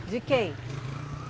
De quem?